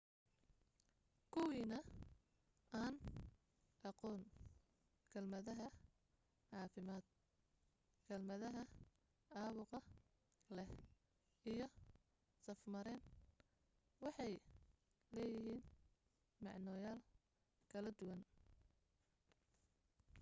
kuwiina aan aqoon kelmadaha caafimaad kelmadaha caabuq leh iyo saf-mareen waxay leeyihiin macnoyaal kala duwan